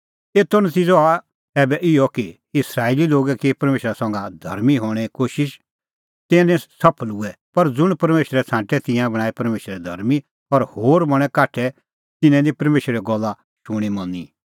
एतो नतिज़अ हुअ ऐबै इहअ कि इस्राएली लोगै की परमेशरा संघै धर्मीं हणें कोशिश तिंयां निं सफल हुऐ पर ज़ुंण परमेशरै छ़ांटै तिंयां बणांऐं परमेशरै धर्मीं और होर बणैं काठै तिन्नैं निं परमेशरे गल्ला शूणींमनी